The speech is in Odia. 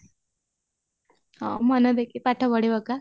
ହଁ ମନ ଦେଇକି ପାଠ ପଢିପକା